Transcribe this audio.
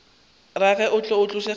rage e tlo tlatša kgamelo